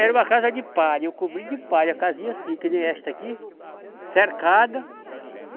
Era uma casa de palha, eu cobri de palha, casinha assim, que nem esta aqui, cercada.